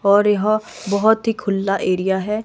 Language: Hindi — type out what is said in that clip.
और यह बहोत ही खुल्ला एरिया है।